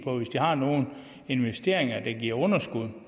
har nogle investeringer der giver underskud